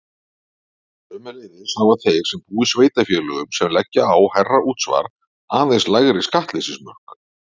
Sömuleiðis hafa þeir sem búa í sveitarfélögum sem leggja á hærra útsvar aðeins lægri skattleysismörk.